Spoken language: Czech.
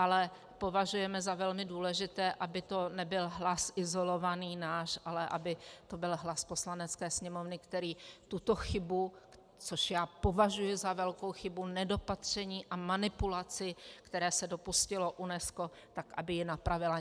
Ale považujeme za velmi důležité, aby to nebyl hlas izolovaný náš, ale aby to byl hlas Poslanecké sněmovny, který tuto chybu, což já považuji za velkou chybu, nedopatření a manipulaci, které se dopustilo UNESCO, tak aby ji napravila.